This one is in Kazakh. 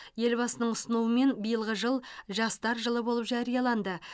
елбасының ұсынуымен биылғы жыл жастар жылы болып жарияланды